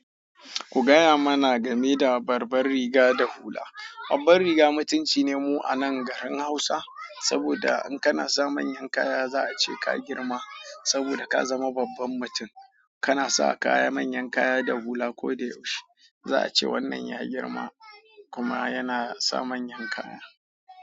Ku gaya mana game da babbar riga da hula. Babbar riga mutunci ne mu a nan garin Hausa, saboda in kana sa manyan kaya za a ce ka girma saboda ka zama babban mutum. Kana sa kaya manyan kaya da hula ko da yaushe, za'ace wannan ya girma kuma yana sa manyan kaya.